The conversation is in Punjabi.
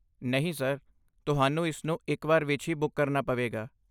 ਨਹੀਂ ਸਰ, ਤੁਹਾਨੂੰ ਇਸਨੂੰ ਇੱਕ ਵਾਰ ਵਿੱਚ ਹੀ ਬੁੱਕ ਕਰਨਾ ਪਵੇਗਾ।